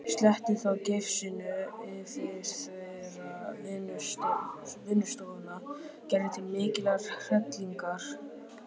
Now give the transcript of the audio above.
Sletti þá gifsinu yfir þvera vinnustofuna Gerði til mikillar hrellingar.